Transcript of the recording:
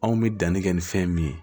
Anw bɛ danni kɛ ni fɛn min ye